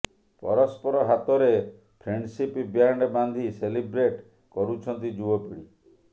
ପରସ୍ପର ହାତରେ friendship band ବାନ୍ଧି ସେଲିବ୍ରେଟ୍ କରୁଛନ୍ତି ଯୁବ ପିଢି